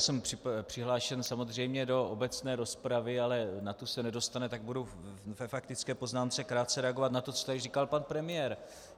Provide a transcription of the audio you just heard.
Jsem přihlášen samozřejmě do obecné rozpravy, ale na tu se nedostane, tak budu ve faktické poznámce krátce reagovat na to, co tady říkal pan premiér.